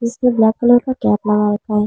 इसमें black colour का cap लगा रखा है।